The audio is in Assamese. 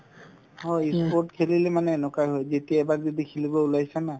হয় ই sport খেলিলে মানে এনেকুৱাই হয় যেতিয়া এবাৰ যদি খেলিব ওলাইছা না